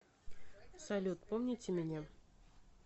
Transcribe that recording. салют помните меня